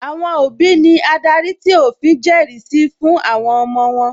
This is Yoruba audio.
Àwọn òbí ní adarí tí òfin jẹrìí sí fún àwọn ọmọ wọ́n